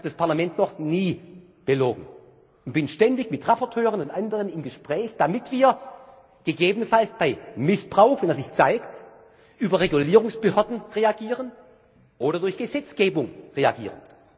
ein! Ich habe das Parlament noch nie belogen und bin ständig mit Berichterstattern und anderen im Gespräch, damit wir gegebenenfalls bei Missbrauch wenn er sich zeigt über Regulierungsbehörden reagieren oder durch Gesetzgebung reagieren.